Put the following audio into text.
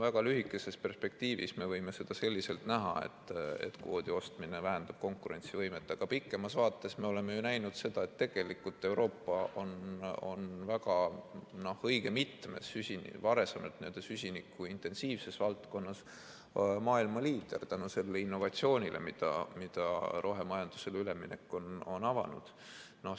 Väga lühikeses perspektiivis me võime seda selliselt näha, et kvoodi ostmine vähendab konkurentsivõimet, aga pikemas vaates me oleme ju näinud seda, et Euroopa on varem õige mitmes süsinikuintensiivses valdkonnas olnud maailma liider tänu sellele innovatsioonile, mida rohemajandusele üleminek on avanud.